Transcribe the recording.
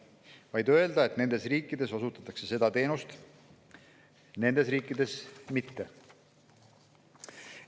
Tuleks öelda, et nendes riikides osutatakse seda teenust, nendes riikides mitte.